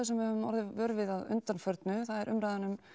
sem við höfum orðið vör við að undanförnu það er umræðan um